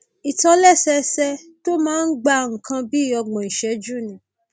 ìtòlẹsẹẹsẹ tó máa ń gba nǹkan bí ọgbọn ìṣẹjú ni